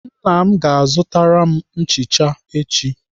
Nna m ga-azụtara m nchicha echi.